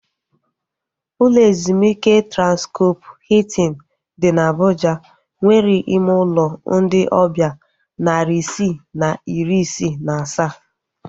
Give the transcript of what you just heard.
Ụlọ ezumike Transkọp Hiltin dị na Abuja nwere ime ụlọ ndị ọbịa narị isii na iri isii na asaa